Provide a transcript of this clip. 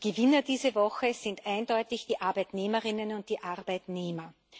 Die Gewinner dieser Woche sind eindeutig die Arbeitnehmerinnen und die Arbeitnehmer.